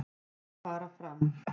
Þær fara fram